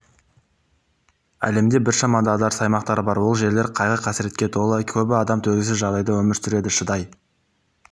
әлемде біршама дағдарыс аймақтары бар ол жерлер қайғы-қасіретке толы көбі адам төзгісіз жағдайда өмір сүреді шыдай